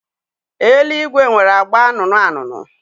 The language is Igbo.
Eluigwe nwere agba anụnụ anụnụ.